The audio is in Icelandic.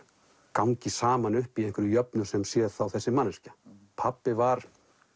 gangi saman upp í einhverri jöfnu sem sé þá þessi manneskja pabbi var